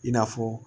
I n'a fɔ